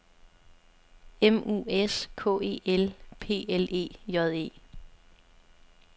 M U S K E L P L E J E